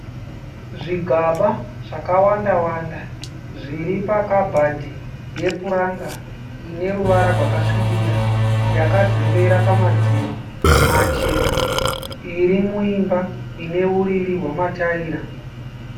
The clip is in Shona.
Zvigaba zvawanda wanda zviripakabhadhi yepuranga ineruvara rwakasvibira yakazembera pamadziro machena iri muimba ineruriri rwemataira.